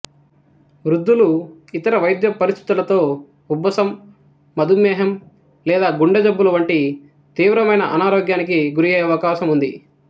వృద్ధులు ఇతర వైద్య పరిస్థితులతో ఉబ్బసం మధుమేహం లేదా గుండె జబ్బులు వంటివి తీవ్రమైన అనారోగ్యానికి గురయ్యే అవకాశం ఉంది